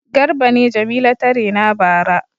Garba ne Jamila ta rena bara.